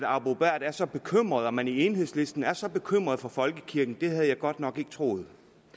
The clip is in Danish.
arbo bæhr er så bekymret at man i enhedslisten er så bekymret for folkekirken havde jeg godt nok ikke troet